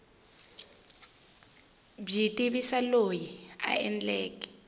byi tivisa loyi a endleke